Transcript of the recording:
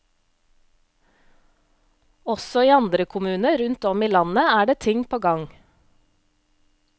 Også i andre kommuner rundt om i landet er det ting på gang.